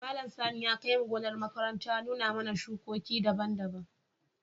Malam Sani ya kai mu gonar makaranta ya nuna mana shuki daban-daban.